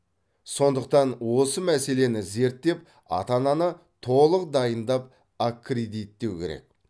сондықтан осы мәселені зерттеп ата ананы толық дайындап аккредиттеу керек